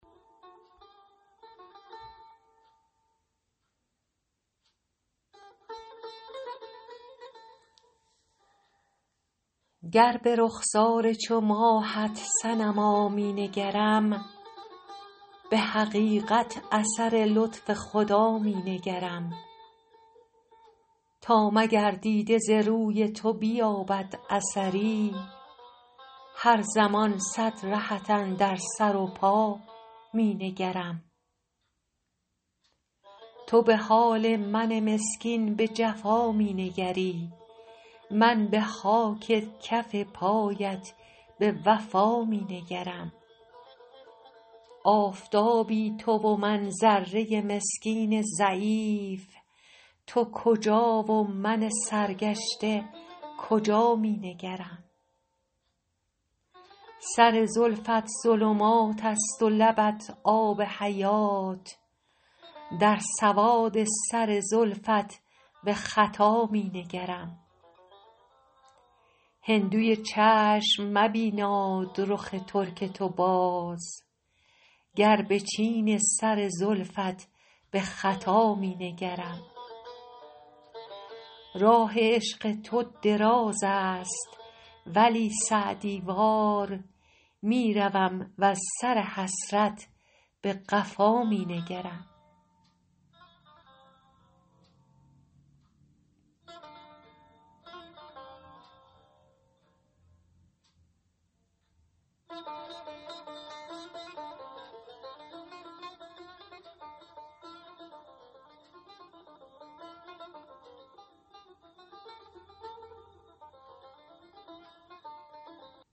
گر به رخسار چو ماهت صنما می نگرم به حقیقت اثر لطف خدا می نگرم تا مگر دیده ز روی تو بیابد اثری هر زمان صد رهت اندر سر و پا می نگرم تو به حال من مسکین به جفا می نگری من به خاک کف پایت به وفا می نگرم آفتابی تو و من ذره مسکین ضعیف تو کجا و من سرگشته کجا می نگرم سر زلفت ظلمات است و لبت آب حیات در سواد سر زلفت به خطا می نگرم هندوی چشم مبیناد رخ ترک تو باز گر به چین سر زلفت به خطا می نگرم راه عشق تو دراز است ولی سعدی وار می روم وز سر حسرت به قفا می نگرم